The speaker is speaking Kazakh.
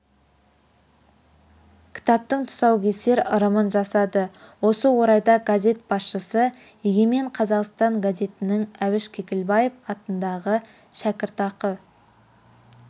кітаптың тұсаукесер ырымын жасады осы орайда газет басшысы егемен қазақстан газетінің әбіш кекілбаев атындағы шәкіртақы